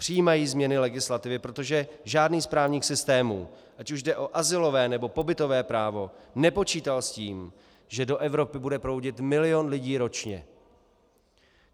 Přijímají změny legislativy, protože žádný z právních systémů, ať už jde o azylové, nebo pobytové právo, nepočítal s tím, že do Evropy bude proudit milion lidí ročně.